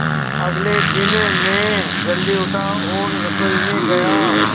अगले दिन मैं जल्दी उठा और रसोई में गया